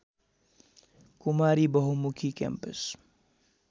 Kumari Bahumukhi campus